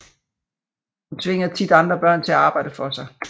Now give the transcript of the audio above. Hun tvinger tit andre børn til at arbejde for sig